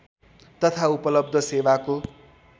तथा उपलब्ध सेवाको